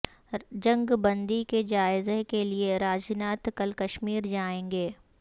جنگ بندی کے جائزہ کے لئے راجناتھ کل کشمیر جائیں گے